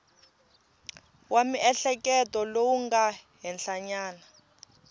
wa miehleketo lowu nga henhlanyana